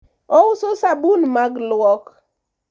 ouso sabun mag lwok